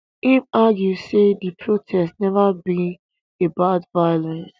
im argue say di protest neva be about violence